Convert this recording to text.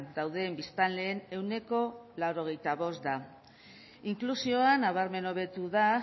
dauden biztanleen ehuneko laurogeita bost da inklusioa nabarmen hobetu da